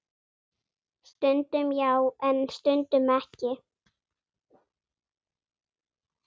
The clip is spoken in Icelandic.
Stundum já, en stundum ekki.